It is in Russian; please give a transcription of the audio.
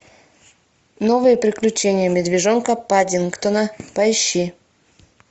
новые приключения медвежонка паддингтона поищи